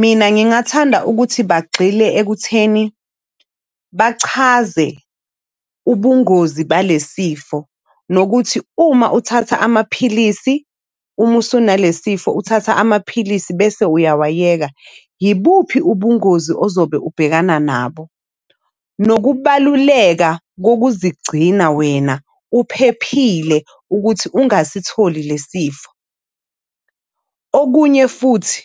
Mina ngingathanda ukuthi bagxile ekutheni bachaze ubungozi balesifo nokuthi uma uthatha amaphilisi, uma usunale sifo, uthatha amaphilisi bese uyawayeka ibuphi ubungozi ozobe ubhekana nabo. Nokubaluleka kokuzigcina wena uphephile ukuthi ungasitholi lesi sifo. Okunye futhi